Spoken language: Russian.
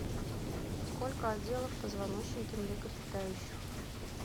сколько отделов в позвоночнике млекопитающих